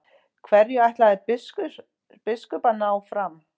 Hverju ætlaði biskup að ná fram?